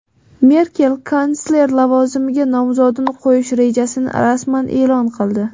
Merkel kansler lavozimiga nomzodini qo‘yish rejasini rasman e’lon qildi.